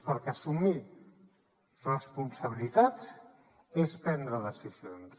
perquè assumir responsabilitats és prendre decisions